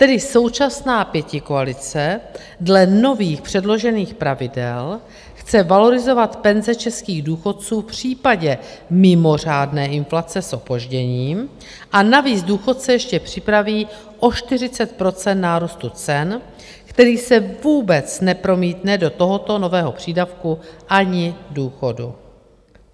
Tedy současná pětikoalice dle nových předložených pravidel chce valorizovat penze českých důchodců v případě mimořádné inflace s opožděním, a navíc důchodce ještě připraví o 40 % nárůstu cen, který se vůbec nepromítne do tohoto nového přídavku ani důchodu.